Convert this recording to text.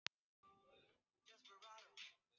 En að vera elskuð- það er ljósið í myrkrinu!